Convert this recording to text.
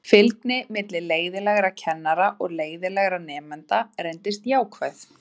Fylgnin milli leiðinlegra kennara og leiðinlegra nemenda reyndist jákvæð.